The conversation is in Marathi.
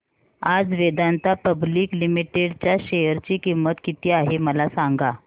आज वेदांता पब्लिक लिमिटेड च्या शेअर ची किंमत किती आहे मला सांगा